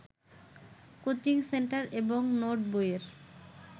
coaching centre এবং নোটবইয়ের